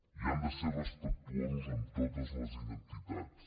i han de ser respectuosos amb totes les identitats